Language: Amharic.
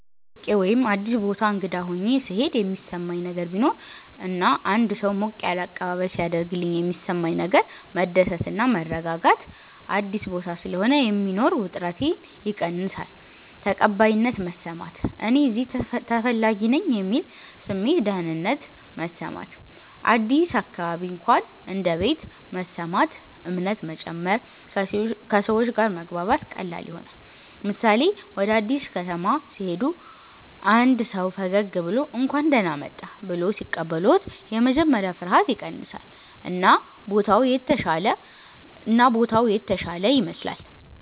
ከቤት ርቄ ወይም አዲስ ቦታ እንግዳ ሆኘ ሥሄድ የሚሠማኝ ነገር ቢኖር እና አንድ ሰው ሞቅ ያለ አቀባበል ሢያደርግልኝ የሚሠማኝ ነገር መደሰት እና መረጋጋት – አዲስ ቦታ ስለሆነ የሚኖር ውጥረቴ ይቀንሳል ተቀባይነት መሰማት – “እኔ እዚህ ተፈላጊ ነኝ” የሚል ስሜት ደህንነት መሰማት – አዲስ አካባቢ እንኳን እንደ ቤት መሰማት እምነት መጨመር – ከሰዎች ጋር መግባባት ቀላል ይሆናል ምሳሌ፦ ወደ አዲስ ከተማ ሲሄዱ አንድ ሰው ፈገግ ብሎ “እንኳን ደህና መጣህ” ብሎ ሲቀበልዎት የመጀመሪያ ፍርሃት ይቀንሳል እና ቦታው የተሻለ ይመስላል።